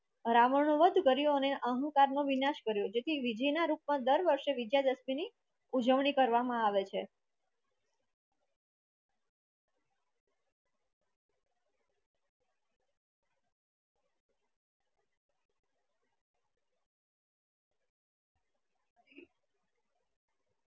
રાવણ નું વધ કર્યું ને આહંકાર નું વિનસા કર્યું જેથી વિજયી ના રૂપ મા વિજયા દશમી ની ઉજવણી કરવામાં આવે છે